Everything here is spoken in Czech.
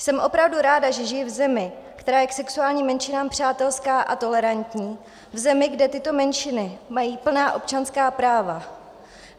Jsem opravdu ráda, že žiji v zemi, která je k sexuálním menšinám přátelská a tolerantní, v zemi, kde tyto menšiny mají plná občanská práva.